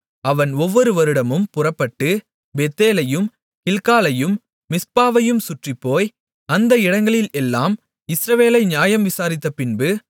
அவன் ஒவ்வொரு வருடமும் புறப்பட்டு பெத்தேலையும் கில்காலையும் மிஸ்பாவையும் சுற்றிப்போய் அந்த இடங்களில் எல்லாம் இஸ்ரவேலை நியாயம் விசாரித்தப்பின்பு